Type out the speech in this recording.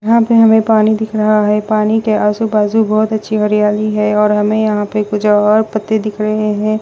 यहाँ पे हमें पानी दिख रहा है पानी के आंजू-बाजू बहुत अच्छी हरियाली है और हमें यहाँ पे कुछ और पत्ते दिख रहे हैं।